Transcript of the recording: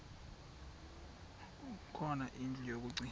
khona indlu yokagcina